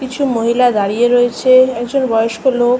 কিছু মহিলা দাঁড়িয়ে রয়েছে। একজন বয়স্ক লোক--